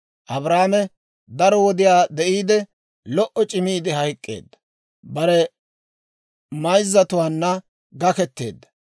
Abrahaame daro wodiyaa de'iide, lo"o c'imiide hayk'k'eedda; bare mayzzatuwaanna gaketteedda.